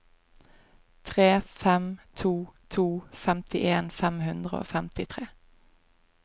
tre fem to to femtien fem hundre og femtitre